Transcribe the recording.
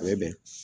A bɛ bɛn